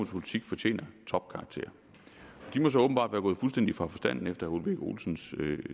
politik fortjener topkarakter de må så åbenbart være gået fuldstændig fra forstanden efter herre ole birk olesens